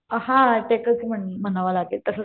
हा अटॅकचं म्हणावं लागेल तसंच